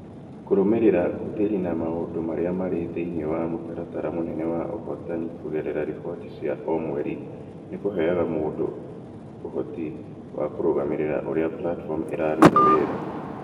Kũrũmĩrĩra ũhũthĩri na maũndũ marĩa marĩ thĩinĩ wa mũtaratara mũnene wa ũhotani kũgerera riboti cia o mweri nĩ kũheaga mũndũ ũhoti wa kũrũgamĩrĩra ũrĩa platform ĩraruta wĩra